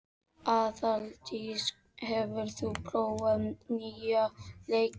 Aðaldís, hefur þú prófað nýja leikinn?